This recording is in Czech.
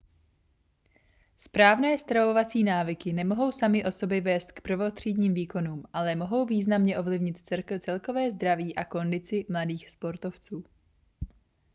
správné stravovací návyky nemohou samy o sobě vést k prvotřídním výkonům ale mohou významně ovlivnit celkové zdraví a kondici mladých sportovců